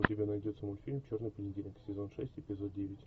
у тебя найдется мультфильм черный понедельник сезон шесть эпизод девять